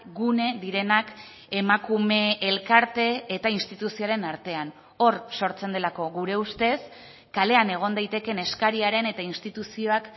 gune direnak emakume elkarte eta instituzioaren artean hor sortzen delako gure ustez kalean egon daitekeen eskariaren eta instituzioak